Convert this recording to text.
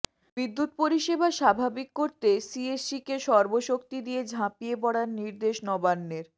বিদ্যুৎ পরিষেবা স্বাভাবিক করতে সিইএসসিকে সর্বশক্তি দিয়ে ঝাঁপিয়ে পড়ার নির্দেশ নবান্নের